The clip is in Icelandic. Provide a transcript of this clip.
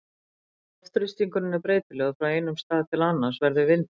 ef loftþrýstingur er breytilegur frá einum stað til annars verður vindur